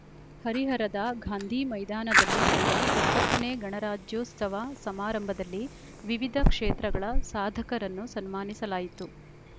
ಹರಿಹರದ ಗಾಂಧೀ ಮೈದಾನದಲ್ಲಿ ನಡೆದ ಎಪ್ಪತ್ತ ನೇ ಗಣರಾಜ್ಯೋತ್ಸವ ಸಮಾರಂಭದಲ್ಲಿ ವಿವಿಧ ಕ್ಷೇತ್ರಗಳ ಸಾಧಕರನ್ನು ಸನ್ಮಾನಿಸಲಾಯಿತು